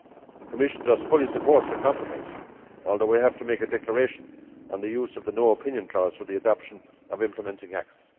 The Commission thus fully supports the compromise, although I have to make a declaration on the use of the no opinion clause for the adoption of implementing acts.